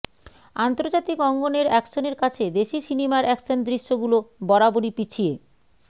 আন্তর্জাতিক অঙ্গনের অ্যাকশনের কাছে দেশি সিনেমার অ্যাকশন দৃশ্যগুলো বরাবরই পিছিয়ে